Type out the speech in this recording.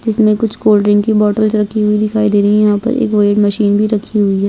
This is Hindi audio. जिसमे कुछ कोल्ड्रिंग की बॉटल रखी हुई दिखाई दे रही है यहाँ पर एक वेट मशीन भी रखी हुई है।